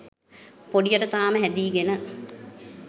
පොඩියට තාම හැදීගෙන.